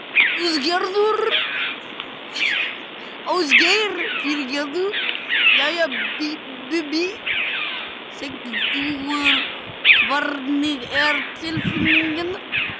Ásgeir: Jæja Bubbi, sextugur hvernig er tilfinningin?